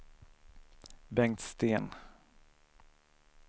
Bengt Sten